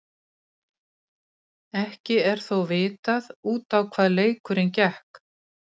Ingdís, hvað er á dagatalinu mínu í dag?